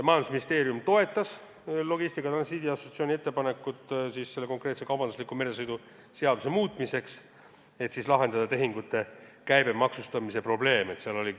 Majandusministeerium toetas Logistika ja Transiidi Assotsiatsiooni ettepanekut kaubandusliku meresõidu seaduse muutmiseks, et lahendada tehingute käibemaksustamise probleem.